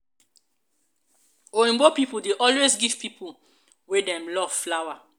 oyinbo people dey always give pipo wey dem love flower.